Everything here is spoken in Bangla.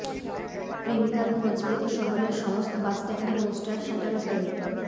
প্রেমিকার খোঁজ পেতে শহরেরর সমস্ত বাসস্ট্যান্ডে পোস্টার সাঁটাল প্রেমিক